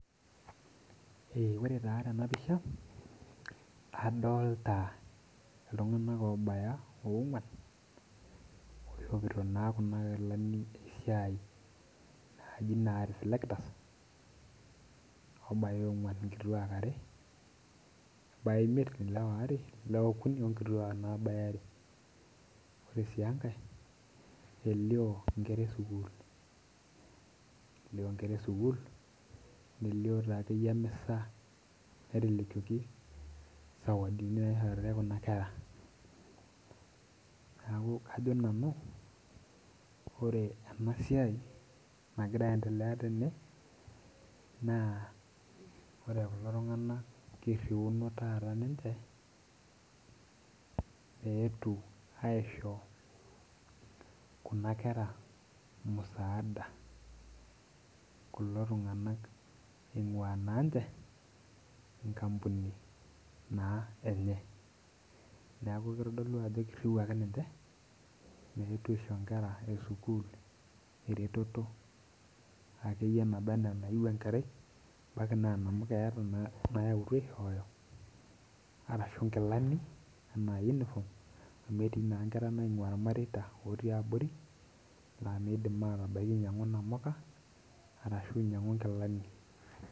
Ore taa tenapisha kadolta ltunganak obaya onguan ishopito na kuna kilani esiai naaji na reflectors obaya ong'uan nkituak are neakuobaya onguan ore si enkaeeliobnkera esukul nelio taakeyie emisa naitelekioki sawadiniekuna kera neaku ajo nnau ore enasiai nagira aiendelea tene na ore kulo tunganak kiriuno taata ninche meetu aisho kuna kera musaada kulo tunganak eimuna nche nkampunini enye neaku kitadolu ajo kiriwuaki ninche meetu aisho nkera esukul eretoto ake yie naba na enayieu enkerai amu keeta naetuo airiwaki ashu nkilani amu etii na nkera naingua irmareita otii abori na midim atabaki ainyangu namuka arashu ainyangu nkilani.